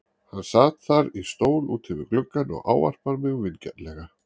Hann sat þar í stól úti við gluggann og ávarpar mig vingjarnlega.